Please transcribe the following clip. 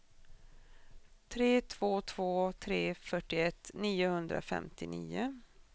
tre två två tre fyrtioett niohundrafemtionio